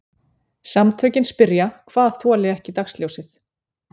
Samtökin spyrja hvað þoli ekki dagsljósið